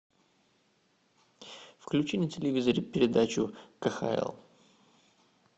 включи на телевизоре передачу кхл